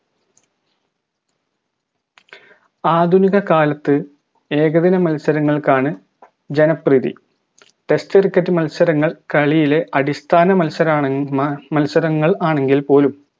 ആധുനിക കാലത്ത് ഏകദിന മത്സരങ്ങൾക്കാണ് ജനപ്രീതി test cricket മത്സരങ്ങൾ കളിയിലെ അടിസ്ഥാന മത്സരണെ മ മത്സരങ്ങൾ ആണെങ്കിൽപോലും